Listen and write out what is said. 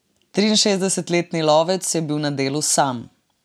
Triinšestdesetletni lovec je bil na delu sam.